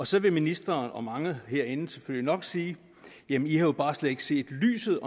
så vil ministeren og mange herinde selvfølgelig nok sige jamen i har jo bare slet ikke set lyset